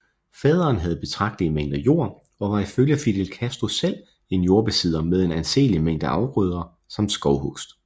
Faderen havde betragtelige mængder jord og var ifølge Fidel Castro selv en jordbesidder med en anselig mængde afgrøder samt skovhugst